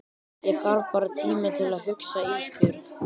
Ég þarf bara tíma til að hugsa Ísbjörg.